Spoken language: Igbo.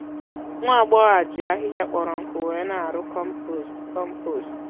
nwá agbọghọ a jị ahịhịa kpọrọ nkụ wee ná àrụ́ kọ́mpost. kọ́mpost.